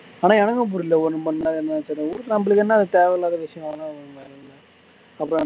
ஆனா எனக்கும் புரியல எதுக்கு நம்மளுக்கு என்னா தேவையில்லாத விஷயம் அப்படிதான